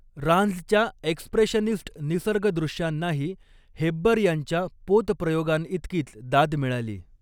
रांझच्या expressionist निसर्गदृश्यांनाही हेब्बर यांच्या पोत प्रयोगांइतकीच दाद मिळाली.